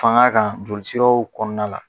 Fanga kan jolisiraw kɔnɔna la